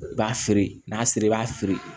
I b'a feere n'a siri i b'a feere